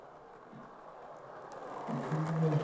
അതന്നെ.